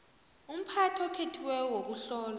umphathi okhethiweko wokuhlolwa